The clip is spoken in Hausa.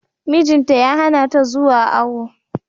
Mijin ta ya hana ta zuwa awo.